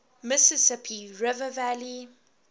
mississippi river valley